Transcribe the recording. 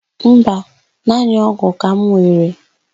Mba, naanị ọ́gụ̀ ka m were.